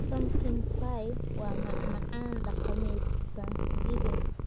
Pumpkin pie waa macmacaan dhaqameed Thanksgiving.